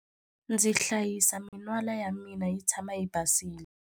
Ndzi hlayisa min'wala ya mina yi tshama yi basile.